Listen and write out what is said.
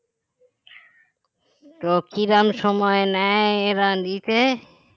তো কিরকম সময় নেয় এরা দিতে